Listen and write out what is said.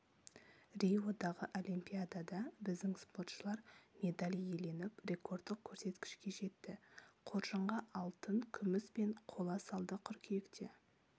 риодағы олимпиадада біздің спортшылар медаль иеленіп рекордтық көрсеткішке жетті қоржынға алтын күміс пен қола салды қыркүйекте